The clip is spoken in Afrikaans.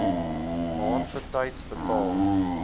maand betyds betaal